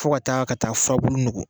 Fo ka taa ka taa furabulu nugu